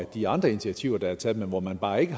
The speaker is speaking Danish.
de andre initiativer der er taget men hvor man bare ikke